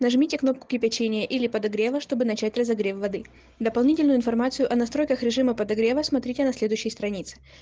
нажмите кнопку кипячение или подогрева чтобы начать разогрев воды дополнительную информацию о настройках режима подогрева смотрите на следующей странице